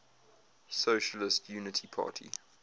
socialist unity party